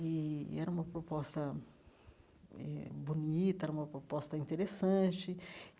E e era uma proposta eh bonita, era uma proposta interessante.